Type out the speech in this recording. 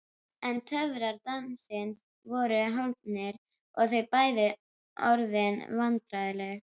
En töfrar dansins voru horfnir og þau bæði orðin vandræðaleg.